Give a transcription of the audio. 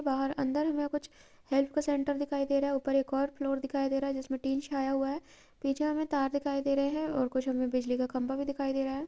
बाहर अंदर हमें कुछ हेल्प सेंटर दिखाई दे रहा है| ऊपर एक और फ्लोर दिखाई दे रहा है जिसमें टीन छाया हुआ है| पीछे हमें तार दिखाई दे रहे हैं और कुछ हमें बिजली का खम्भा दिखाई दे रहे हैं।